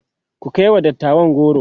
ku kaiwa dattawan goro!